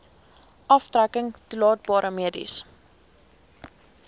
aftrekking toelaatbare mediese